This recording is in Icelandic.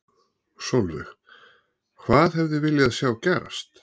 Sólveig: Hvað hefði viljað sjá gerast?